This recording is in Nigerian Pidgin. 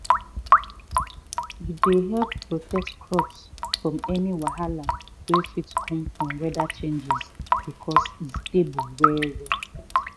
e dey help protect crops from any wahala wey fit come from weather changes because e stable well well.